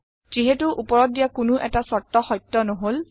যিহেতু ওপৰত দিয়া কোনো এটা চৰ্ত্ত সত্য নহল